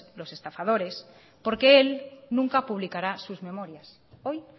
los estafadores porque él nunca publicará sus memorias hoy